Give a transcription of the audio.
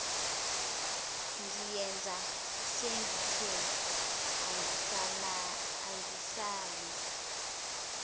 ngiyeza sengithe angisale